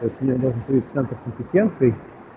центр компетенций